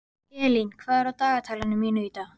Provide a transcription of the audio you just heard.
Eylín, hvað er á dagatalinu mínu í dag?